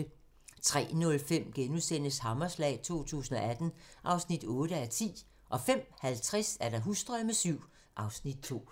03:05: Hammerslag 2018 (8:10)* 05:50: Husdrømme VII (Afs. 2)